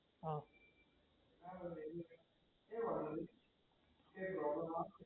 હા